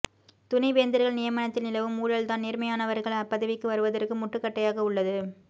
துணைவேந்தர்கள் நியமனத்தில் நிலவும் ஊழல் தான் நேர்மையானவர்கள் அப்பதவிக்கு வருவதற்கு முட்டுக்கட்டையாக உள்ளது